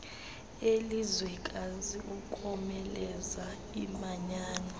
elizwekazi ukomeleza imanyano